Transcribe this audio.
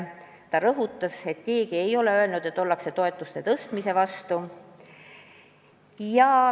Ta rõhutas, et keegi ei ole öelnud, et ollakse toetuste tõstmise vastu.